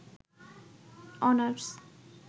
honours